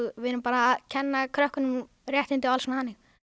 við erum bara að kenna krökkunum réttindi og alls konar þannig